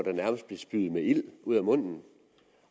og nærmest spyede ild ud af munden